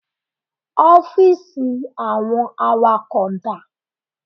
Ọ́fíìsì àwọn awakọ̀ dá?